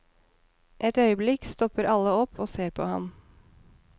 Et øyeblikk stopper alle opp og ser på ham.